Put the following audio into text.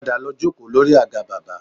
Padà lọ jókòó lórí àga bábà